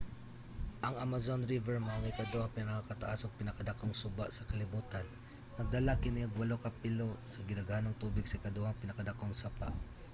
ang amazon river mao ang ikaduhang pinakataas ug pinakadakong suba sa kalibutan. nagdala kini og 8 ka pilo sa gidaghanong tubig sa ikaduhang pinakadakong sapa